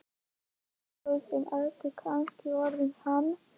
Þessi þú sem ert kannski orðinn hann.